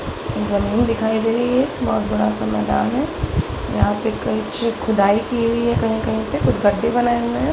जमीन दिखाई दे रही है बहुत बड़ा सा मैदान है जहां पर कुछ खुदाई की हुई है कही-कही पे कुछ गड्ढे बनाए हुए है।